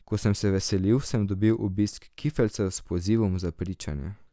Ko sem se vselil, sem dobil obisk kifeljcev s pozivom za pričanje.